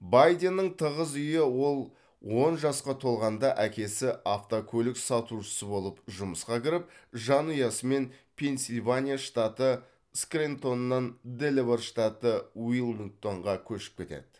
байденнің тығыз үйі ол он жасқа толғанда әкесі автокөлік сатушысы болып жұмысқа кіріп жанұясымен пенсильвания штаты скрэнтоннан делавэр штаты уилмингтонға көшіп кетеді